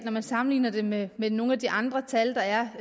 når man sammenligner det med med nogle af de andre tal der er